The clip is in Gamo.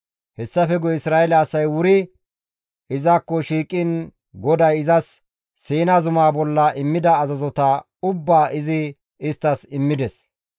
Hessafe guye Isra7eele asay wuri izakko shiiqiin GODAY izas Siina zumaa bolla immida azazota ubbaa izi isttas immides.